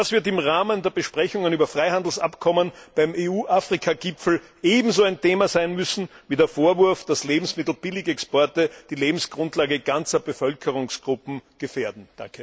Das wird im Rahmen der Besprechungen über Freihandelsabkommen beim EU Afrika Gipfel ebenso ein Thema sein müssen wie der Vorwurf, dass Lebensmittelbilligexporte die Lebensgrundlage ganzer Bevölkerungsgruppen gefährden.